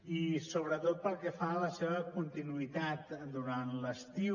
i sobretot pel que fa a la seva continuïtat durant l’estiu